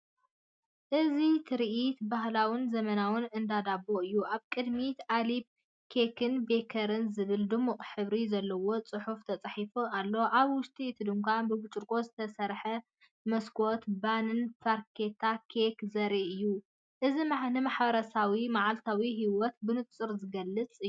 እዚ ትርኢት ባህላውን ዘመናውን እንዳ ዳቦ እዩ። ኣብ ቅድሚት “ኣሌብ ኬክን ቤከሪን” ዝብል ድሙቕ ሕብሪ ዘለዎ ጽሑፍ፡ተጻሒፉ ኣሎ። ኣብ ውሽጢ እቲ ድኳን፡ ብብርጭቆ ዝተሰርሐ መስኮት ባኒን ፍርያት ኬክን ዘርኢ እዩ። እዚ ንማሕበረሰባውን መዓልታዊ ህይወትን ብንጹር ዝገልጽ እዩ።